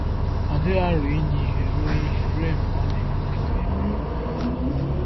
Ọ dịghị aro inye ihe ruo ihe ruo mgbe ọ na-ewute ka e mere.